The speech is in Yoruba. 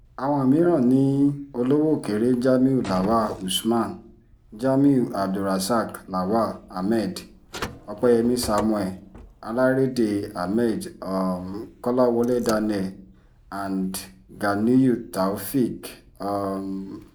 àwọn mìíràn ni olówókéré jamiu lawal usman jamiu abdulrasaq lawal ahmed opẹyẹmi samuel alárédè ahmed um kọ́láwọ́lé daniel and ganiyunù taofẹ́ẹ̀k um